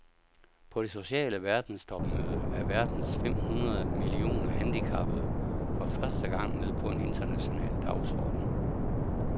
På det sociale verdenstopmøde er verdens fem hundrede millioner handicappede for første gang med på en international dagsorden.